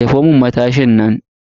Jefo mun matashin nan.